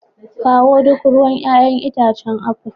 Kawo duk ruwan 'ya'yan itacen apple.